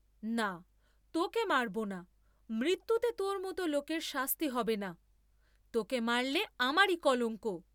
না, তোকে মারব না, মৃত্যুতে তোর মত লোকের শাস্তি হবে না, তোকে মারলে আমারি কলঙ্ক।